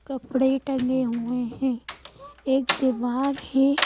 कपड़े टंगे हुए हैं एक दीवार है।